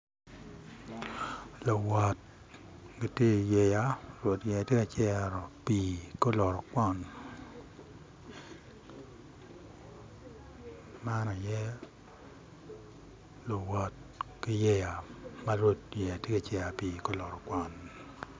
Luwot gitye i yeya rwed yeya tye ka cere pii ki oluto kwon man aye luwot ki yeya ma rwed yeya tye ka cere pii ki oluto kwon